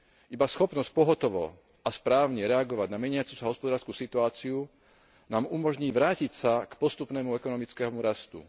Iba schopnosť pohotovo a správne reagovať na meniacu sa hospodársku situáciu nám umožní vrátiť sa k postupnému ekonomickému rastu.